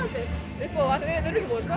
upp og ofan